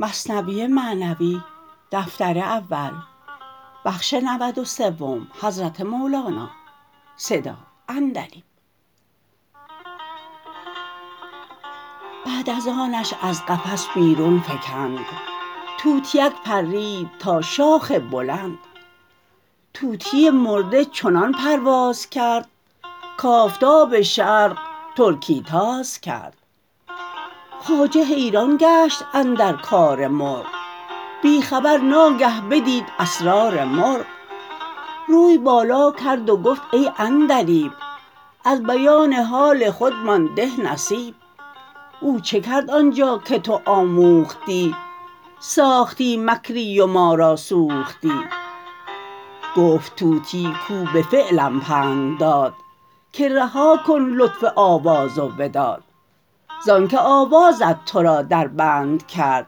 بعد از آنش از قفس بیرون فکند طوطیک پرید تا شاخ بلند طوطی مرده چنان پرواز کرد کآفتاب شرق ترکی تاز کرد خواجه حیران گشت اندر کار مرغ بی خبر ناگه بدید اسرار مرغ روی بالا کرد و گفت ای عندلیب از بیان حال خود مان ده نصیب او چه کرد آنجا که تو آموختی ساختی مکری و ما را سوختی گفت طوطی کاو به فعلم پند داد که رها کن لطف آواز و وداد زان که آوازت ترا در بند کرد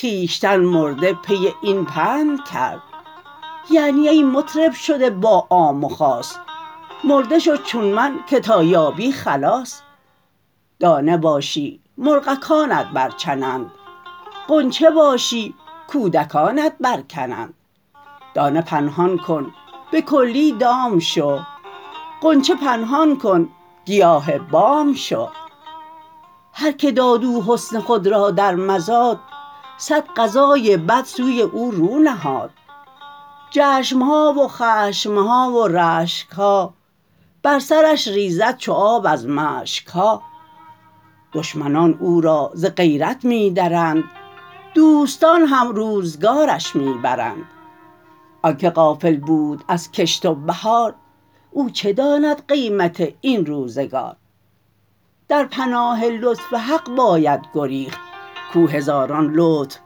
خویشتن مرده پی این پند کرد یعنی ای مطرب شده با عام و خاص مرده شو چون من که تا یابی خلاص دانه باشی مرغکانت برچنند غنچه باشی کودکانت برکنند دانه پنهان کن به کلی دام شو غنچه پنهان کن گیاه بام شو هر که داد او حسن خود را در مزاد صد قضای بد سوی او رو نهاد چشم ها و خشم ها و رشک ها بر سرش ریزد چو آب از مشک ها دشمنان او را ز غیرت می درند دوستان هم روزگارش می برند آنک غافل بود از کشت و بهار او چه داند قیمت این روزگار در پناه لطف حق باید گریخت کاو هزاران لطف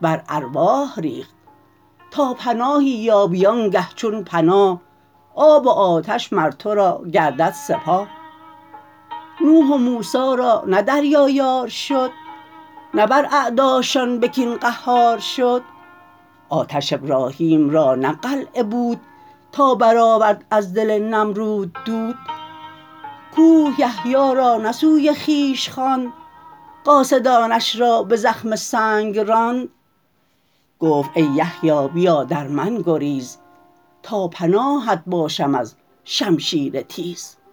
بر ارواح ریخت تا پناهی یابی آن گه چون پناه آب و آتش مر ترا گردد سپاه نوح و موسی را نه دریا یار شد نه بر اعداشان به کین قهار شد آتش ابراهیم را نی قلعه بود تا برآورد از دل نمرود دود کوه یحیی را نه سوی خویش خواند قاصدانش را به زخم سنگ راند گفت ای یحیی بیا در من گریز تا پناهت باشم از شمشیر تیز